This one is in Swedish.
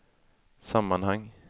sammanhang